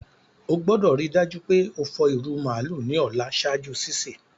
O gbọ́dọ̀ rii dájú pe o fọ ìrù màálù ni ọ̀la ṣaaju sísẹ̀.